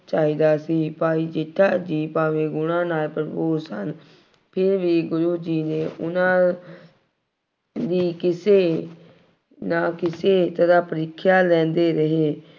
ਚਾਹੀਦਾ ਸੀ। ਭਾਈ ਜੇਠਾ ਜੀ ਭਾਵੇਂ ਗੁਣਾਂ ਨਾਲ ਭਰਪੂਰ ਸਨ। ਫੇਰ ਵੀ ਗੁਰੂ ਜੀ ਨੇ ਉਹਨਾ ਦੀ ਕਿਸੇ ਨਾ ਕਿਸੇ ਤਰ੍ਹਾਂ ਪ੍ਰੀਖਿਆ ਲੈਂਦੇ ਰਹੇ।